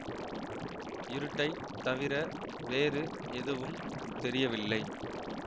இருட்டைத் தவிர வேறு எதுவும் தெரியவில்லை